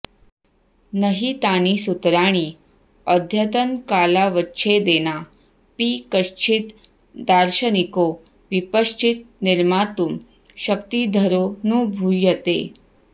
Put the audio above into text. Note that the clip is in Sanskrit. नहि तानि सूत्राणि अद्यतनकालावच्छेदेनापि कश्चिद् दार्शनिको विपश्चित् निर्मातुं शक्तिधरोऽनुभूयते